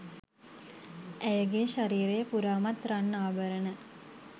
ඇයගේ ශරීරය පුරාමත් රන් ආභරණ